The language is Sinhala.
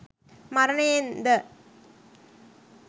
මරණයෙන් ද